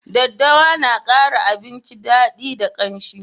Daddawa na kara abinci dadi da ƙamshi